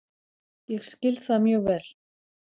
Ég skil það mjög vel